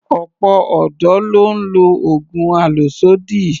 Ọ̀pọ̀ ọ̀dọ́ ló ń lo oògùn àlòsódì